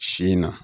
Si in na